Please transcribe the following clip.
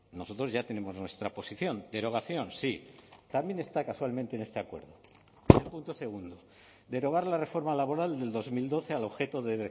nosotros ya tenemos nuestra posición derogación sí también está casualmente en este acuerdo el punto segundo derogar la reforma laboral del dos mil doce al objeto de